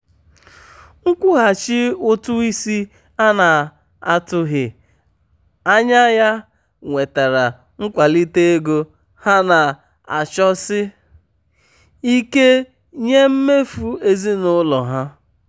nkwụghachi ụtụ isi a na-atụghị anya ya wetara nkwalite ego ha na-achọsi um ike nye mmefu ezinụlọ ha.